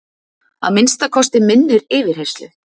Að minnsta kosti minnir yfirheyrslu